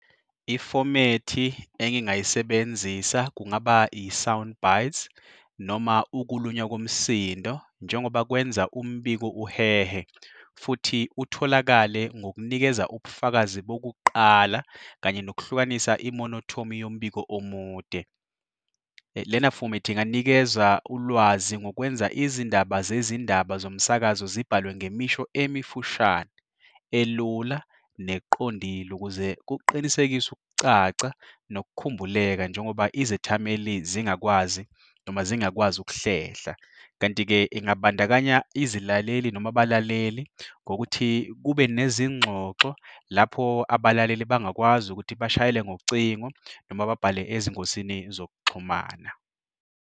Ifomethi engingayisebenzisa kungaba i-sound bites noma ukulunywa komsindo njengoba kwenza umbiko uhehe futhi utholakale ngokunikeza ubufakazi bokuqala kanye nokuhlukanisa imonothomi yombiko omude. Lena fomethi inganikeza ulwazi ngokwenza izindaba zezindaba zomsakazo zibhalwe ngemisho emifushane, elula neqondile ukuze kuqinisekise ukucaca nokukhumbuleka njengoba izethameli zingakwazi, noma zingakwazi ukuhlehla. Kanti-ke ingabandakanya izilaleli noma abalaleli ngokuthi kube nezingxoxo lapho abalaleli bangakwazi ukuthi bashayele ngocingo, noma babhale ezingosini zokuxhumana.